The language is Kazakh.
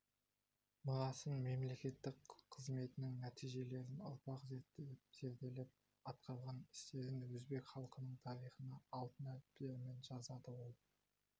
мұрасын мемлекеттік қызметінің нәтижелерін ұрпақ зерттеп-зерделеп атқарған істерін өзбек халқының тарихына алтын әріптермен жазады ол